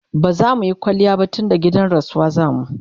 bazamuyi kwaliya ba tunda gidan rasuwa zamu